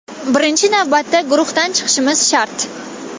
Birinchi navbatda guruhdan chiqishimiz shart.